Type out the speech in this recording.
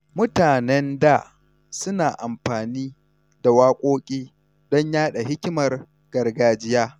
Mutanen da suna amfani da waƙoƙi don yaɗa hikimar gargajiya.